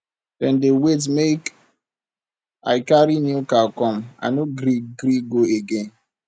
dem dey wait make i carry new car come i no gree gree go again